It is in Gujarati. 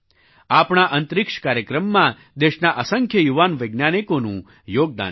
આપણા અંતરિક્ષ કાર્યક્રમમાં દેશના અસંખ્ય યુવાન વૈજ્ઞાનિકોનું યોગદાન છે